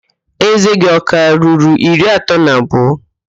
Ézé gị ọ ka ruru iri atọ na abụọ?